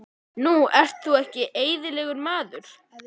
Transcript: Þú ert nú ekki eðlilegur, maður!